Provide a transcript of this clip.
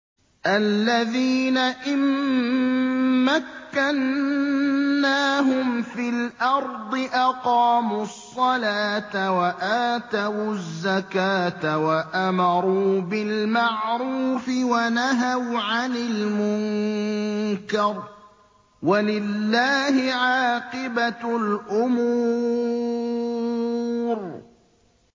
الَّذِينَ إِن مَّكَّنَّاهُمْ فِي الْأَرْضِ أَقَامُوا الصَّلَاةَ وَآتَوُا الزَّكَاةَ وَأَمَرُوا بِالْمَعْرُوفِ وَنَهَوْا عَنِ الْمُنكَرِ ۗ وَلِلَّهِ عَاقِبَةُ الْأُمُورِ